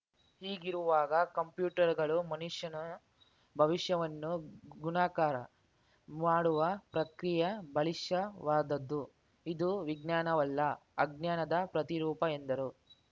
ಹೀಗಿರುವಾಗ ಕಂಪ್ಯೂಟರ್‌ಗಳು ಮನುಷ್ಯನ ಭವಿಷ್ಯವನ್ನು ಗುಣಾಕಾರ ಮಾಡುವ ಪ್ರಕ್ರಿಯ ಬಾಲಿಶವಾದುದು ಇದು ವಿಜ್ಞಾನವಲ್ಲ ಅಜ್ಞಾನದ ಪ್ರತಿರೂಪ ಎಂದರು